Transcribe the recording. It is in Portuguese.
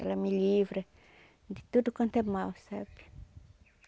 Ela me livra de tudo quanto é mal, sabe?